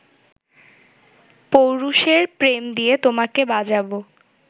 পৌরুষের প্রেম দিয়ে তোমাকে বাজাবো